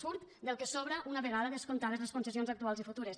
surt del que sobra una vegada descomptades les concessions actuals i futures